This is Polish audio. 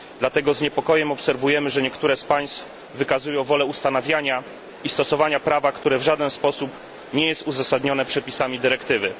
Dlatego z niepokojem obserwujemy, że niektóre z państw wykazują wolę ustanawiania i stosowania prawa, które w żaden sposób nie jest uzasadnione przepisami dyrektywy.